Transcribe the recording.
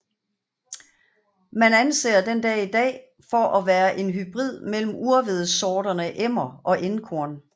Man anser den i dag for at være en hybrid mellem urhvedesorterne Emmer og Enkorn